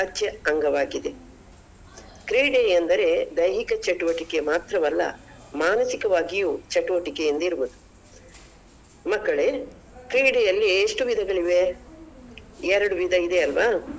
ಅವಿಭಾಜ್ಯ ಅಂಗವಾಗಿದೆ ಕ್ರೀಡೆ ಎಂದರೆ ದೈಹಿಕ ಚಟುವಟಿಕೆ ಮಾತ್ರವಲ್ಲ ಮಾನಸಿಕವಾಗಿಯು ಚಟುವಟಿಕೆಯಿಂದಿರುವುದು ಮಕ್ಕಳೇ ಕ್ರೀಡೆ ಅಲ್ಲಿ ಎಷ್ಟು ವಿಧಗಳಿವೆ? ಎರಡು ವಿಧ ಇದೆಯಲ್ವಾ.